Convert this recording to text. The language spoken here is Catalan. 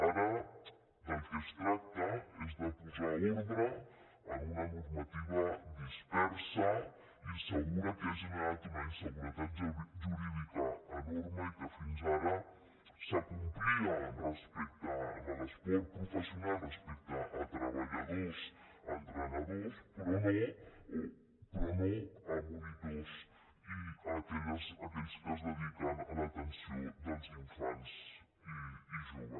ara del que es tracta és de posar ordre en una normativa dispersa insegura que ha generat una inseguretat jurídica enorme i que fins ara s’acomplia en l’esport professional respecte a treballadors entrenadors però no a monitors i aquells que es dediquen a l’atenció dels infants i joves